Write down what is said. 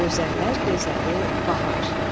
Gözəllər gözəli Bahar.